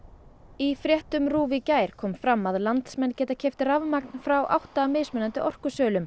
í fréttum RÚV í gær kom fram að landsmenn geta keypt rafmagn frá átta mismunandi orkusölum